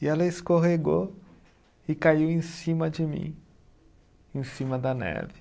E ela escorregou e caiu em cima de mim, em cima da neve.